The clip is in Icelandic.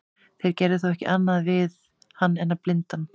þeir gerðu þó ekki annað við hann en að blinda hann